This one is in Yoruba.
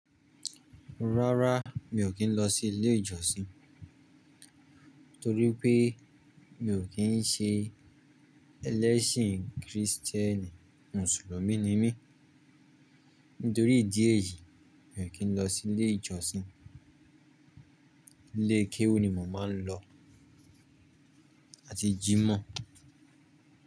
Rárá mi ò kí ń lọ sí ilé ìjọsìn, torí pé mi ò kí ń ṣe ẹlẹ́sìn kìrìtẹ́nì, mùsùlùmí ni mí. Nítorí ìdí èyí mi ò kí ń lọ sí ilé ìjọsìn. Ilé kéwú ni mò ń máa ń lọ àti jímọ̀